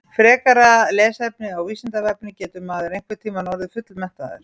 Frekara lesefni á Vísindavefnum Getur maður einhvern tímann orðið fullmenntaður?